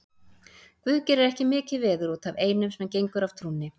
Guð gerir ekki mikið veður út af einum sem gengur af trúnni.